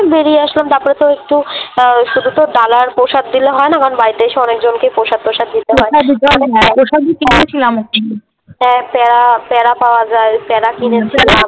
বেরিয়ে আসলাম তারপরে তো একটু শুধু তো ডালা আর প্রসাদ দিলে হয়না কারণ বাড়িতে এসে অনেকজনকে প্রসাদ টোসাদ দিতে হয়। প্রসাদ প্রসাদই কিনবি তুই আমার জন্য। হ্যাঁ হ্যাঁ প্যারা প্যারা পাওয়াযায় প্যারা কিনেছি।